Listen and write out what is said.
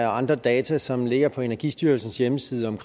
og andre data som ligger på energistyrelsens hjemmeside om